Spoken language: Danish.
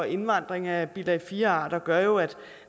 indvandring af bilag iv arter gør jo at